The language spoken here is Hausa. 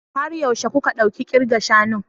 Har yaushe kuka ɗauki kirga shanun?